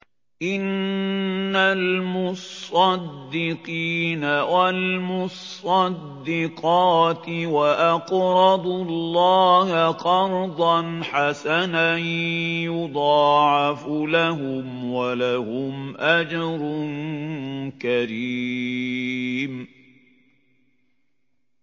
إِنَّ الْمُصَّدِّقِينَ وَالْمُصَّدِّقَاتِ وَأَقْرَضُوا اللَّهَ قَرْضًا حَسَنًا يُضَاعَفُ لَهُمْ وَلَهُمْ أَجْرٌ كَرِيمٌ